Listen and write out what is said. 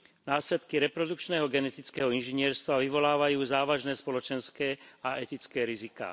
Následky reprodukčného genetického inžinierstva vyvolávajú závažné spoločenské a etické riziká.